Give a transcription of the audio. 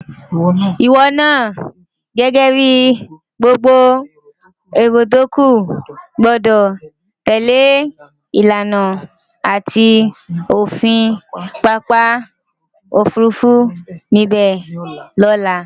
Ìwo naa gęgę bi gbogbo èrò tókù gbo̩dò̩ tèlé ìlànà àti òfin papa òfurufú níbę ni òla.